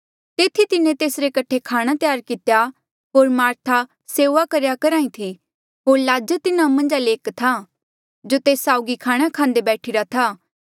तेथी तिन्हें तेसरे कठे खाणा त्यार कितेया होर मार्था सेऊआ करेया करहा ई थी होर लाज़र तिन्हा मन्झा ले एक था जो तेस साउगी खाणा खांदे बैठीरा था